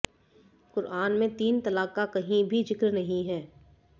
कुरआन में तीन तलाक का कहीं भी जिक्र नहीं है